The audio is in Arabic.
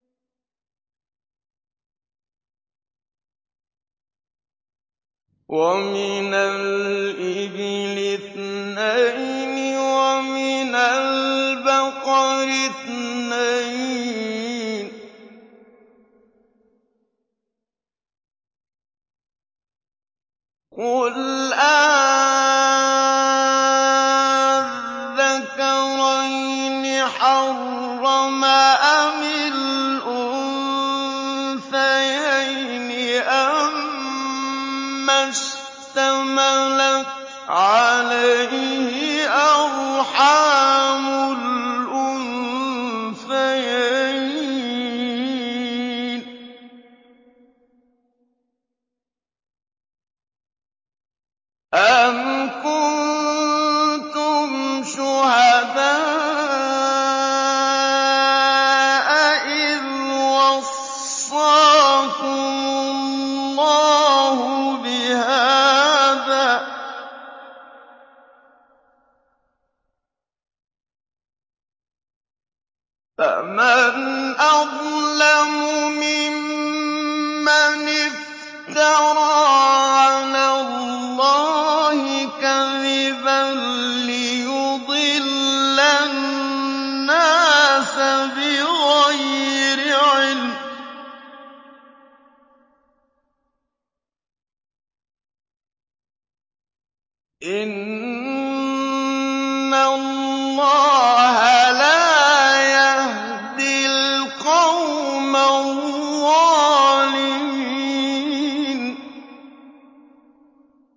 وَمِنَ الْإِبِلِ اثْنَيْنِ وَمِنَ الْبَقَرِ اثْنَيْنِ ۗ قُلْ آلذَّكَرَيْنِ حَرَّمَ أَمِ الْأُنثَيَيْنِ أَمَّا اشْتَمَلَتْ عَلَيْهِ أَرْحَامُ الْأُنثَيَيْنِ ۖ أَمْ كُنتُمْ شُهَدَاءَ إِذْ وَصَّاكُمُ اللَّهُ بِهَٰذَا ۚ فَمَنْ أَظْلَمُ مِمَّنِ افْتَرَىٰ عَلَى اللَّهِ كَذِبًا لِّيُضِلَّ النَّاسَ بِغَيْرِ عِلْمٍ ۗ إِنَّ اللَّهَ لَا يَهْدِي الْقَوْمَ الظَّالِمِينَ